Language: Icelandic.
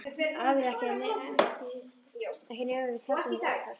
Aðrir ekki ekki nema við teldum það óhætt.